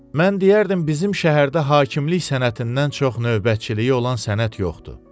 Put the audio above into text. Mən deyərdim, bizim şəhərdə hakimlik sənətindən çox növbəçiliyi olan sənət yoxdur.